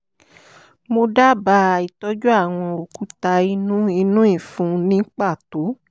mo dábàá itọ́jú àwọn òkúta inú inú ìfun ní pàtó